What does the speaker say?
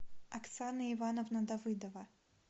оксана ивановна давыдова